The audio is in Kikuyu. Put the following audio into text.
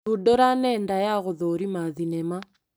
Thundũra nenda ya gũthũrima thinema.